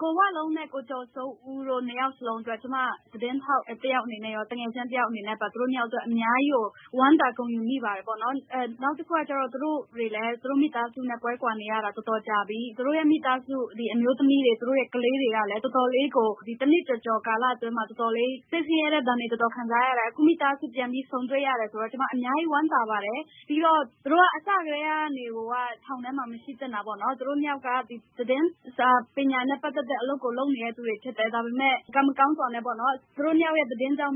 ကိုဝလုံးနဲ့ ကိုကျော်စိုးဦးတို့နှစ်ဦးစလုံးအတွက် ကျမ သတင်းထောက်အနေနဲ့ သူတို့ နှစ်ယောက်အတွက် အများကြီးကို ဝမ်းသာဂုဏ်ယူမိပါတယ်။ နောက်တခုကတော့ သူတို့တွေလည်း မိသားစုနဲ့ ကွဲကွာနေရတာ တော်တော်ကြာပြီ ၊ သူတို့ ကလေးတွေ ၊ အမျိုးသမီးတွေက တော်တော်လေးကို ဒီတနှစ်ကာလအတွင်းမှာ စိတ်ဆင်းရဲတဲ့ ဒဏ်တွေ တော်တော်လေးကို ခံစားရတယ်။ အခုမိသားစု ပြန်ပြီးဆုံတွေ့ရတယ်ဆိုတော့ ကျမအများကြီးဝမ်းသာပါတယ်။ ပြီးတော့ အစကတည်းကနေ သူတို့က ထောင်ထဲမှာ မရှိသင့်တာပေါ့နော်။ သူတို့နှစ်ယောက်က သတင်းစာနဲ့ ပတ်သက်တဲ့ အလုပ်ကို လုပ်နေသူတွေဖြစ်တယ်။ ဒါပေမယ့် ကံမကောင်းစွာနဲ့ သူတို့နှစ်ယောက်ရဲ့ သတင်းကြောင့်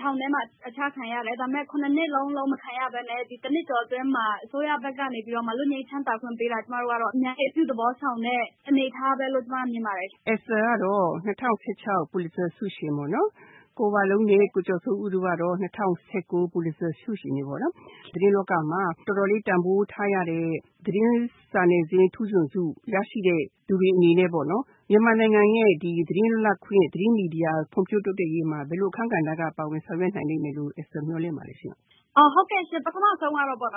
ထောင်ချခံရတယ်။ ဒါပေမယ့် ၇ နှစ်လုံးလုံး မခံရပဲနဲ့ ၁ နှစ်ကျော်အတွင်းမှာ အစိုးရကနေပြီးတော့ လွတ်ငြိမ်းချမ်းသာခွင့်ပေးတာကို ကျမတို့ကတော့ အများကြီး အပြုသဘောဆောင်တဲ့အနေအထားပဲလို့ ကျမမြင်ပါတယ်။ ဒေါ်လှလှသန်း။ ။ Esther ကတော့ ၂၀၁၆ Pulitzer ဆုရှင်ပေါ့နော်၊ ကိုဝလုံးနဲ့ ကိုကျော်စိုးဦးတို့ကတော့ ၂၀၁၉ Pulitzer ဆုရှင်တွေပေါ့နော်၊ သတင်းလောကမှာ တော်တော်လေး တန်ဖိုးထားရတဲ့ သတင်းစာနယ်ဇင်းထူးချွန်ဆု ရရှိတဲ့ သူတွေအနေနဲ့ မြန်မာနိုင်ငံရဲ့ သတင်းလွတ်လပ်ခွင့်၊ သတင်းမီဒီယာ ဖွံ့ဖြိုးတိုးတက်ရေးမှာ ဘယ်လိုအခန်းကဏ္ဍကနေ ပါဝင်ဆောင်ရွက်နိုင်လိမ့်မယ်လို့ မျှော်လင့်ပါသလဲ။ Esther Htu San။ ။ဟုတ်ကဲ့ရှင့် ပထမဦးဆုံးကတော့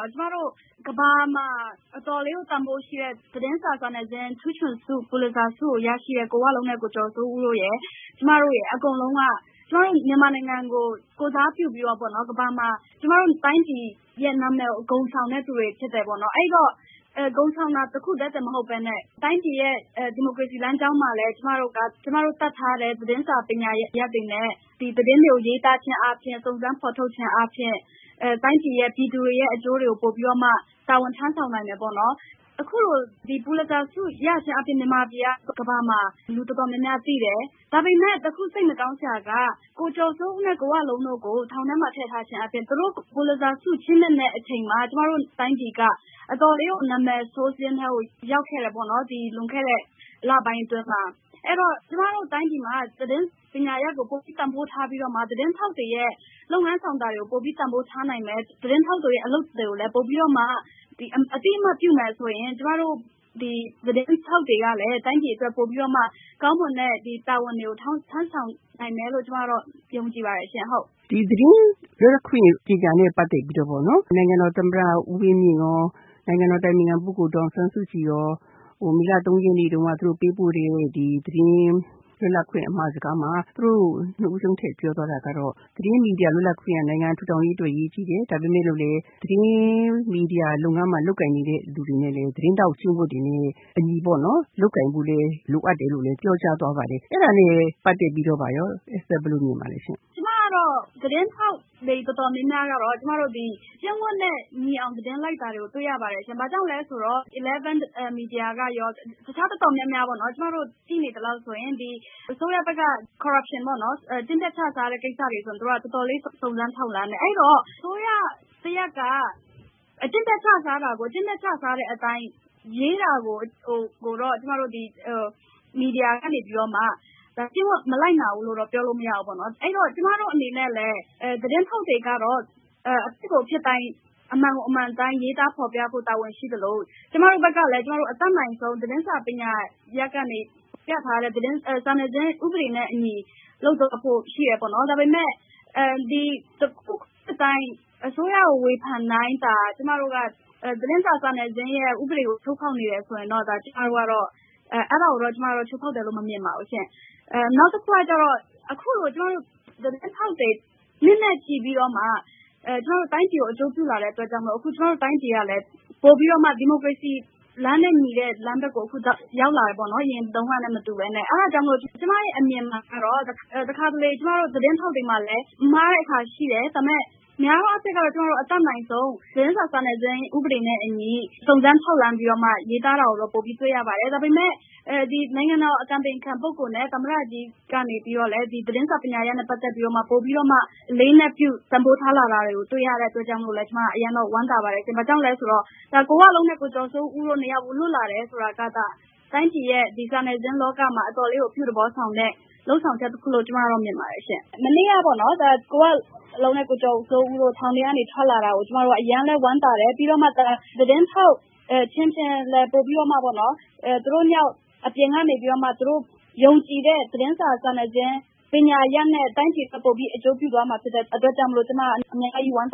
ကမ္ဘာမှာ တော်တော်လေး တန်ဖိုးရှိတဲ့ သတင်းစာနယ်ဇင်းထူးချွန်ဆု Pulitzer ဆုကိုရရှိတဲ့ ကိုဝလုံးနဲ့ ကိုကျော်စိုးဦးတို့ရယ် ကျမတို့အကုန်လုံးက ကျမတို့ မြန်မာနိုင်ငံကိုယ်ကိုယ်စားပြုပြီးတော့ တိုင်းပြည်ရဲ့ နာမည်ကို ဂုဏ်ဆောင်တဲ့သူတွေဖြစ်တယ်။ ဒီလို ဂုဏ်ဆောင်တာ တခုတည်းတင်မဟုတ်ပဲနဲ့ တိုင်းပြည်ရဲ့ ဒီမိုကရေစီ လမ်းကြောင်းမှာလည်း ကျမတို့ တတ်ထားတဲ့ သတင်းစာပညာရပ်တွေနဲ့ သတင်းတွေကို ရေးသားခြင်း စုံစမ်းဖော်ထုတ်ခြင်းအားဖြင့် တိုင်းပြည်၊ ပြည်သူတွေအကျိုးကို ပိုပြီးတော့မှ တာဝန်ထမ်းဆောင်နိုင်မယ်ပေါ့နော်။ အခုလို Pulitzer ဆုကိုရခြင်းအားဖြင့် မြန်မာနိုင်ငံကို ကမ္ဘာမှာ လူတော်တော်များများသိတယ်။ ဒါပေမယ့် တခု စိတ်မကောင်းစရာက ကိုဝလုံးနဲ့ ကိုကျော်စိုးဦးတို့ကို ထောင်ထဲမှာ ထည့်ထားခြင်းအားဖြင့် သူတို့ Pulitzer ဆုကိုချီးမြှင့်မယ့်အချိန်မှာ ကျမတို့ တိုင်းပြည်က အတော်လေးကို နာမည်ဆိုးစာရင်းထဲ ဝင်ခဲ့တယ်ပေါ့နော် လွန်ခဲ့တဲ့ လပိုင်းအတွင်းမှာ။ အဲဒီတော့ ကျမတို့ တိုင်းပြည်မှာ သတင်းပညာရပ်ကို ပိုပြီးတန်ဖိုးထားပြီးတော့ သတင်းထောက်တွေရဲ့ လုပ်ငန်းဆောင်တာတွေကို ပိုပြီးတန်ဖိုးထားနိုင်မယ် ၊ သတင်းထောက်တွေရဲ့အလုပ်တွေကိုလည်း ပိုပြီးအသိအမှတ်ပြုမယ်ဆိုရင် ကျမတို့ သတင်းထောက်တွေကလည်း တိုင်းပြည်အတွက် ကောင်းမွန်တဲ့ တာဝန်တွေကို ထမ်းဆောင်နိုင်မယ်လို့ ကျမကတော့ ယုံကြည်ပါတယ်။ ဒေါ်လှလှသန်း။ ။ သတင်းလွတ်လပ်ခွင့်ပညာနဲ့ ပတ်သက်ပြီးတော့ နိုင်ငံတော်သမ္မတ ဦးဝင်းမြင့်ရော နိုင်ငံတော်အတိုင်ပင်ခံ ဒေါ်အောင်ဆန်းစုကြည်ရော မေလ ၃ ရက်နေ့တုန်းက ပေးပို့တဲ့ သတင်းလွတ်လပ်ခွင့်အမှာစကားမှာ သူတို့ နှစ်ဦးစလုံးထည့်ပြောသွားတာကတော့ သတင်းမီဒီယာ လွတ်လပ်ခွင့်က နိုင်ငံတော်ထူထောင်ရေးအတွက် အရေးကြီးတယ် ဒါပေမယ့် သတင်းမီဒီယာလုပ်ငန်းမှာ လုပ်ကိုင်နေသူတွေအနေနဲ့ သတင်းထောက်ကျင့်ဝတ်တွေနဲ့ အညီ လုပ်ကိုင်ဖို့လည်း လိုအပ်တယ်လို့ ပြောကြားသွားပါတယ်။ အဲဒါနဲ့ပတ်သက်ပြီးတော့ Esther ဘယ်လိုမြင်ပါသလဲ။ Esther Htu San။ ။ကျမကတော့ သတင်းထောက်တွေတော်တော်များများကတော့ သတင်းထောက် ကျင့်ဝတ်တွေနဲ့ အညီ သတင်းလိုက်တာကို တွေ့ရပါတယ်။ ဘာကြောင့်လဲဆိုတော့ Eleven မီဒီယာကရော တခြားတော်တော်များများပေါ့နော် ကျမတို့ ကြည့်နေသလောက်ဆိုရင် အစိုးရဘက်က Corruption ပေါ့နော် ဒီလိုကိစ္စတွေဆိုရင် သူတို့က တော်တော်လေး စုံစမ်းထောက်လှမ်းတယ်၊ အဲဒီတော့ အစိုးရဘက်က အကျင့်ပျက်ချစားတာကို အကျင့်ပျက်ချစားတဲ့အတိုင်း ရေးတာကို မီဒီယာဘက်ကနေမှ မလိုက်နာဘူးလို့တော့ ပြောလို့မရဘူးပေါ့နော်။ ကျမကတို့အနေနဲ့လည်း သတင်းထောက်တွေကတော့ အမှန်ကို အမှန်အတိုင်း ရေးသားဖော်ပြဖို့ တာဝန်ရှိသလို ၊ ကျမတို့ ဘက်ကလည်း အတတ်နိုင်ဆုံး စာနယ်ဇင်းဥပဒေနဲ့အညီ လုပ်သွားဖို့ရှိတယ်ပေါ့နော်။ ဒါပေမယ့် အစိုးရကို ဝေဖန်တိုင်း ကျမတို့က သတင်းစာ စာနယ်ဇင်းဥပဒေကို ချိုးဖောက်နေတယ် ဆိုတာကိုတော့ အဲဒါကို ကျမတို့ ချိုးဖောက်တယ်လို့ မမြင်ပါဘူး။ အခုလို ကျမတို့ သတင်းထောက်တွေနှစ်နဲ့ချီပြီးတော့ တိုင်းပြည်ကို အကျိုးပြုလာတဲ့အတွက် တိုင်းပြည်ကလည်း ဒီမိုကရေစီ လမ်းနဲ့ညီတဲ့ဘက်ကို အခုရောက်လာတယ်ပေါ့နော်။ အဲဒါကြောင့်မို့လို့ ကျမအမြင်မှာတော့ တခါတလေ သတင်းထောက်တွေမှာလည်း မှားတဲ့အခါရှိတယ်၊ ဒါပေမယ့် များသောအားဖြင့်ကတော့ အတတ်နိုင်ဆုံး သတင်းစာ စာနယ်ဇင်းရဲ့ ဥပဒေနဲ့အညီ စုံစမ်းထောက်လှမ်းပြီးတော့ရေးသားတာကို ပိုပြီးတွေ့ရပါတယ်။ ဒါပေမယ့် နိုင်ငံတော်အတိုင်ပင်ခံနဲ့ သမ္မတဘက်ကလည်း သတင်းပညာရပ်နဲ့ ပတ်သက်ပြီး ပိုပြီးတော့ အလေးထား တန်ဖိုးထားလာတာကို တွေ့ရတဲ့အတွက် ကျမကတော့ အရမ်းဝမ်းသာပါတယ်။ ကိုဝလုံးနဲ့ ကိုကျော်စိုးဦးတို့လွတ်လာတယ် ဆိုတာက ဒါ တိုင်းပြည်ရဲ့ စာနယ်ဇင်းလောကမှာ အတော်လေးကို အပြုသဘောဆောင်တဲ့ လုပ်ဆောင်ချက်တခုလို့ ကျမမြင်ပါတယ်။ မနေ့က ကိုဝလုံးနဲ့ ကိုကျော်စိုးဦးတို့ထောင်ထဲကနေ ထွက်လာတာကို အရမ်းဝမ်းသာတယ် ပြီးတော့ သတင်းထောက် အချင်းချင်း သူတို့နှစ်ယောက် အပြင်ကနေပြီးတော့ သူတို့ယုံကြည်တဲ့ သတင်းစာနယ်ဇင်း ပညာရပ်နဲ့ တိုင်းပြည်အတွက် ပိုပြီးတော့ အကျိုးပြုသွားမှာ ဖြစ်တဲ့အတွက်ကြောင့် ကျမအများကြီး ဝမ်းသာ